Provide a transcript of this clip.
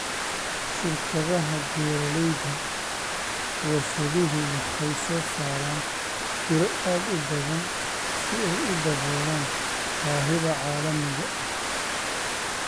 Shirkadaha beeralayda warshaduhu waxay soo saaraan tiro aad u badan si ay u daboolaan baahida caalamiga ah.